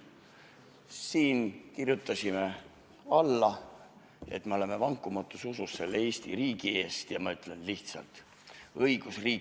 Siin kirjutasime alla, et me oleme vankumatus usus selle Eesti riigi eest, ja ma ütlen lihtsalt: õigusriik ei ole ohus, riigil on alati õigus.